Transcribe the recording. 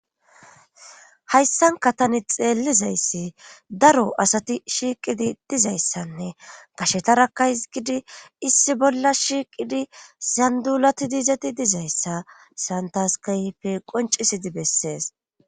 hayssanka tani xeellizayssi daro asati shiiqidi dizayssanne kashetarakka hizgidi issi bolla shiiqidi sandulati diizati dizayssa santaskaype qoncisidi bessees